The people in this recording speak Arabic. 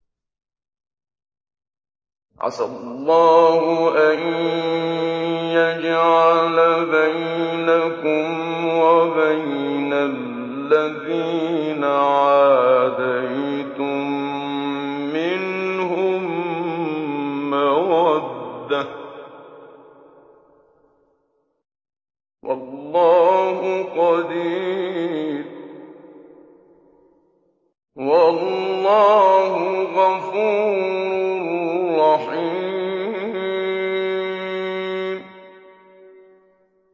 ۞ عَسَى اللَّهُ أَن يَجْعَلَ بَيْنَكُمْ وَبَيْنَ الَّذِينَ عَادَيْتُم مِّنْهُم مَّوَدَّةً ۚ وَاللَّهُ قَدِيرٌ ۚ وَاللَّهُ غَفُورٌ رَّحِيمٌ